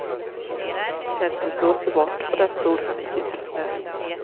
Tältet blåste bort, och där stod han i djup snö.